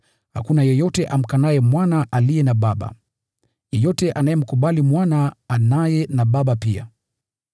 Hakuna yeyote amkanaye Mwana aliye na Baba. Yeyote anayemkubali Mwana anaye na Baba pia.